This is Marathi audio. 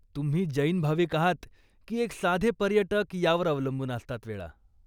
तुम्ही जैन भाविक आहात की एक साधे पर्यटक यावर अवलंबून असतात वेळा.